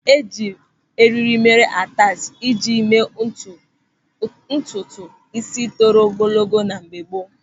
Eji eriri mere atachi iji mee ụdị ntutu ísí toro ogologo na mgbe gboo.